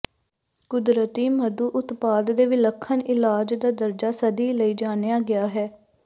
ਕੁਦਰਤੀ ਮਧੂ ਉਤਪਾਦ ਦੇ ਵਿਲੱਖਣ ਇਲਾਜ ਦਾ ਦਰਜਾ ਸਦੀ ਲਈ ਜਾਣਿਆ ਗਿਆ ਹੈ